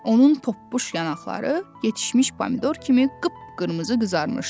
Onun poppuş yanaqları yetişmiş pomidor kimi qıp-qırmızı qızarmışdı.